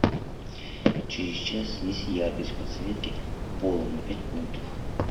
через час снизь яркость подсветки пола на пять пунктов